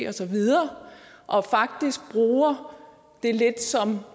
og så videre og faktisk bruger det lidt som